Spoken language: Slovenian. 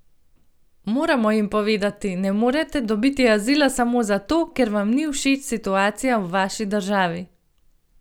Moramo jim povedati: 'Ne morete dobiti azila samo zato, ker vam ni všeč situacija v vaši državi'.